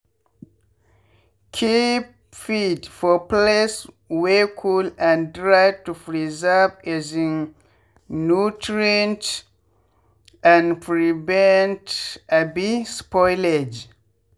keep feed for place wey cool and dry to preserve um nutrient and prevent um spoilage.